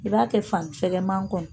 I b'a kɛ fanifɛkɛman kɔnɔ.